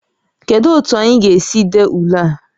Kedu otu anyị ga-esi dee ule a?